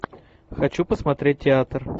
хочу посмотреть театр